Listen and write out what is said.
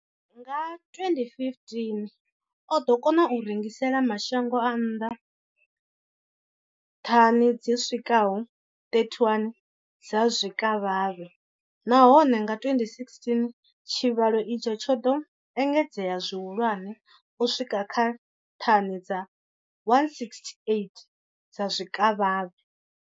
Nga 2015, o ḓo kona u rengisela mashango a nnḓa thani dzi swikaho 31 dza zwikavhavhe, nahone nga 2016 tshivhalo itshi tsho ḓo engedzea zwihulwane u swika kha thani dza 168 dza zwikavhavhe.